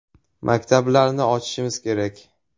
Maktablarni ochishimiz kerak.